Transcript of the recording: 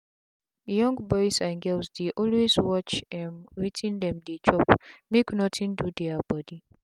young boys and girls dey always watch um wetin them dey chopmake nothing do their body.